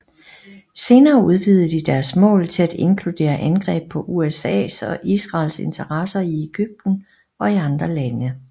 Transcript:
Senere udvidede de deres mål til at inkludere angreb på USAs og Israels interesser i Egypten og i andre lande